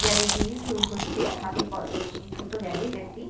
Garage টি হচ্ছে হাতে কল ছোট্ট গ্যারেজ একটি।